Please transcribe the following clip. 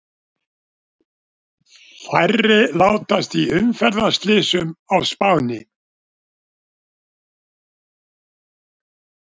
Færri látast í umferðarslysum á Spáni